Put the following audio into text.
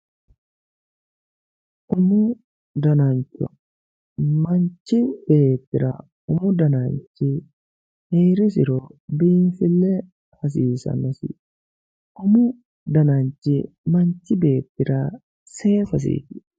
umu danancho manchi beettira umu dananchi heerisiro biinfille hasiisannosi umu dananchi manchi beettira seesasiiti